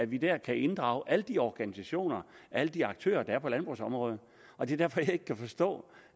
vi der kan inddrage alle de organisationer alle de aktører der er på landbrugsområdet og det er derfor at jeg ikke kan forstå